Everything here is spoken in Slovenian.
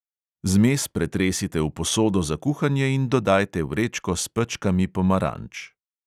Zmes pretresite v posodo za kuhanje in dodajte vrečko s pečkami pomaranč.